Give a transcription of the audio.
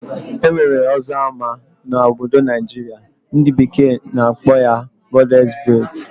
Enwere ọzọ ama na obodo Naijiria, ndi bekee na akpọ ya Goddess braids.